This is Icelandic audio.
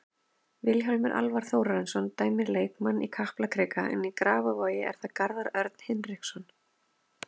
Vilhjálmur Alvar Þórarinsson dæmir leikinn í Kaplakrika en í Grafarvogi er það Garðar Örn Hinriksson.